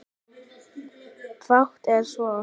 Fátt er svo.